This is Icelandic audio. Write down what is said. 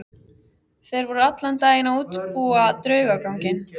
Þeir voru allan daginn að útbúa draugaganginn.